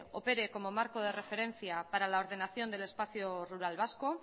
opere como marco de referencia para la ordenación del espacio rural vasco